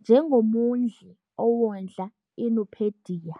njengo"mondli" owondla iNupedia.